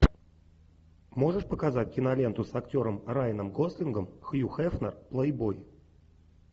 можешь показать киноленту с актером райаном гослингом хью хефнер плейбой